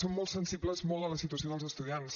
som molt sensibles molt a la situació dels estudiants